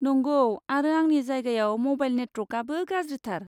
नंगौ, आरो आंनि जायगायाव म'बाइल नेटवर्कआबो गाज्रिथार।